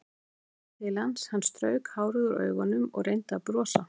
Ég leit til hans, hann strauk hárið úr augunum og reyndi að brosa.